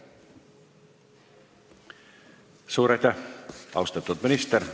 Suur aitäh, austatud minister!